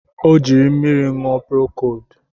Ọ jiri mmiri ṅụọ prokodu